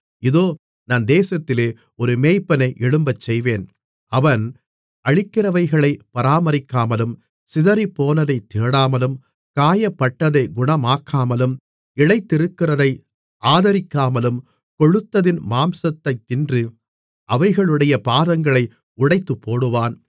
இதோ நான் தேசத்திலே ஒரு மேய்ப்பனை எழும்பச்செய்வேன் அவன் அழிக்கிறவைகளைப் பராமரிக்காமலும் சிதறிப்போனதைத் தேடாமலும் காயப்பட்டதைக் குணமாக்காமலும் இளைத்திருக்கிறதை ஆதரிக்காமலும் கொழுத்ததின் மாம்சத்தைத் தின்று அவைகளுடைய பாதங்களை உடைத்துப்போடுவான்